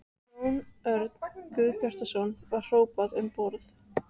Jón Örn Guðbjartsson: Var hrópað um borð?